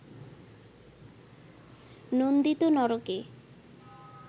নন্দিত নরকে